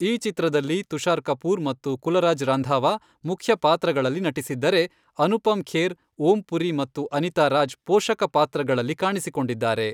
ಈ ಚಿತ್ರದಲ್ಲಿ ತುಷಾರ್ ಕಪೂರ್ ಮತ್ತು ಕುಲರಾಜ್ ರಂಧಾವಾ ಮುಖ್ಯ ಪಾತ್ರಗಳಲ್ಲಿ ನಟಿಸಿದ್ದರೆ, ಅನುಪಮ್ ಖೇರ್, ಓಂ ಪುರಿ ಮತ್ತು ಅನಿತಾ ರಾಜ್ ಪೋಷಕ ಪಾತ್ರಗಳಲ್ಲಿ ಕಾಣಿಸಿಕೊಂಡಿದ್ದಾರೆ.